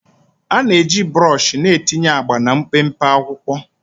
A na-eji brọsh na-etinye agba na mpempe akwụkwọ